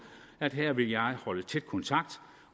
at her vil jeg holde tæt kontakt